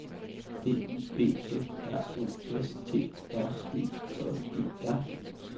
D Y B F R O S T R E J E R